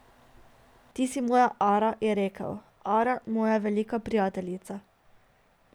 Ti si moja Ara, je rekel, Ara, moja velika prijateljica.